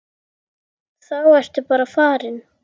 Þá ertu bara farin.